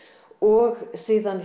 og síðan